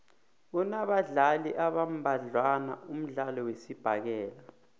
unabadlali abambadlwana umdlalo wesibhakela